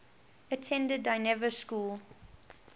attended dynevor school